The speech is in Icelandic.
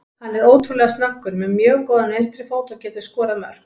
Hann er ótrúlega snöggur, með mjög góðan vinstri fót og getur skorað mörk.